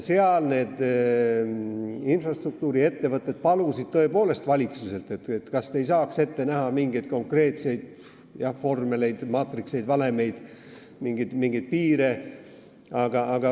Seal need infrastruktuuriettevõtted palusid tõepoolest valitsuselt, et kas te ei saaks ette näha mingeid konkreetseid vormeleid, maatrikseid, valemeid või mingeid piire.